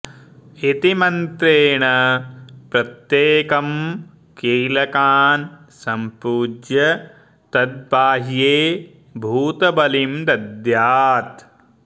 इति मन्त्रेण प्रत्येकं कीलकान् सम्पूज्य तद्बाह्ये भूतबलिं दद्यात्